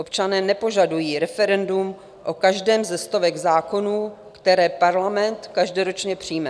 Občané nepožadují referendum o každém ze stovek zákonů, které parlament každoročně přijme.